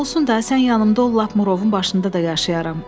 Olsun da, sən yanımda ol lap Murovun başında da yaşayaram.